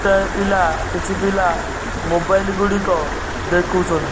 ଗୋଟାଏ ପିଲା କିଛି ପିଲା ମୋବାଇଲ ଗୁଡ଼ିକ ଦେଖୁଛନ୍ତି।